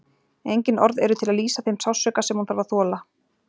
Engin orð eru til að lýsa þeim sársauka sem hún þarf að þola.